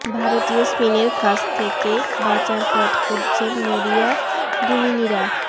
ভারতীয় স্পিনের ফাঁস থেকে বাঁচার পথ খুঁজছেন মরিয়া ডুমিনিরা